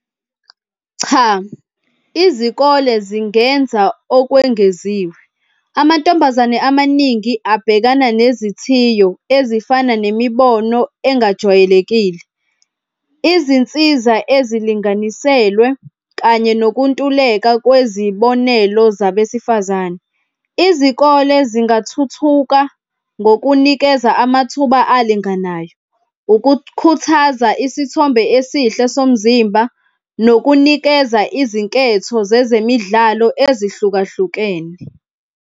Cha, izikole zingenza okwengeziwe. Amantombazane amaningi abhekane nezithiyo ezifana nemibono engajwayelekile, izinsiza ezilinganiselwe kanye nokuntuleka kwezibonelo zabesifazane. Izikole zingathuthuka ngokunikeza amathuba alinganayo, ukukhuthaza isithombe esihle somzimba, nokunikeza izinketho zezemidlalo ezihlukahlukene.